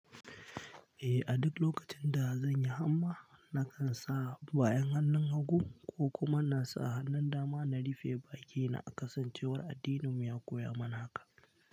Eh, a duk lokacin da zanyi hanma, na kan sa bayan hannun hagu ko kuma na sa hannun dama na rufe bakina a kasancewar addininmu ya koya mana haka.